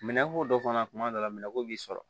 Minɛko dɔ fana tuma dɔ la minɛnko b'i sɔrɔ